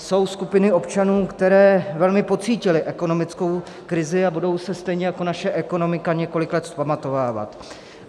Jsou skupiny občanů, které velmi pocítily ekonomickou krizi, a budou se stejně jako naše ekonomika několik let vzpamatovávat.